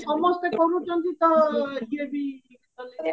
ସମସ୍ତେ କରୁଚନ୍ତି ତ ଇଏ ବି